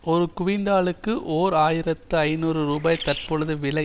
ஒரு குவிண்டலுக்கு ஓர் ஆயிரத்தி ஐநூறு ரூபாய் தற்பொழுது விலை